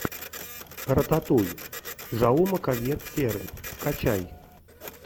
рататуй жауме кольет серра скачай